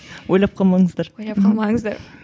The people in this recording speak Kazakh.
ойлап қалмаңыздар ойлап қалмаңыздар